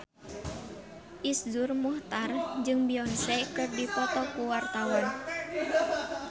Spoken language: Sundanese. Iszur Muchtar jeung Beyonce keur dipoto ku wartawan